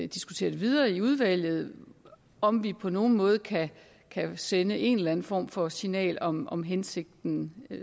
diskutere videre i udvalget om vi på nogen måde kan sende en eller anden form for signal om om hensigten